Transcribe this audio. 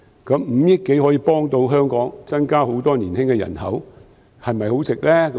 五億多元可以幫助香港增加很多年輕人口，這是否很值得？